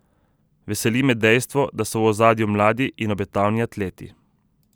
Veseli me dejstvo, da so v ozadju mladi in obetavni atleti.